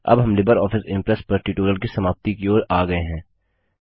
अब हम LibreOffice impress पर ट्यूटोरियल की समाप्ति की ओर आ गए हैं